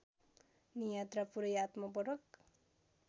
नियात्रा पूरै आत्मपरक